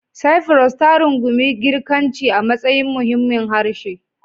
Cyprus, ta rungumi Girkanci a matsayin muhimmin harshe.